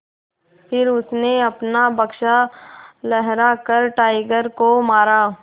फिर उसने अपना बक्सा लहरा कर टाइगर को मारा